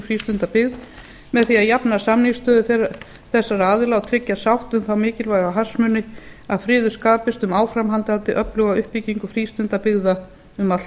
frístundabyggð með því að jafna samningsstöðu þessara aðila og tryggja sátt um þá mikilvægu hagsmuni að friður skapist um áframhaldandi öfluga uppbyggingu frístundabyggðar um alla